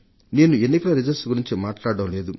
నేను ఎన్నికల ఫలితాల గురించి మాట్లాడటం లేదు